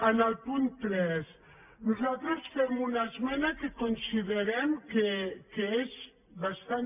en el punt tres nosaltres fem una esmena que considerem que és bastant